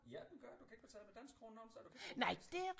Ja den gør du kan ikke betale med danske kroner nogen steder du kan ikke veksle